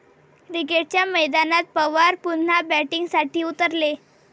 क्रिकेटच्या मैदानात पवार पुन्हा 'बॅटिंग'साठी उतरले!